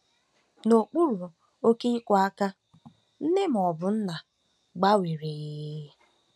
N'okpuru oke ịkwa ákwá, nne ma ọ bụ nna gbanwere ee e.